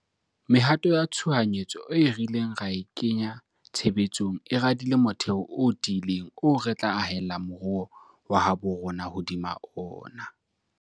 Mehato ya tshohanyetso eo re ileng ra e kenya tshebe tsong e radile motheo o ti ileng oo re tla ahella moruo wa habo rona hodima ona.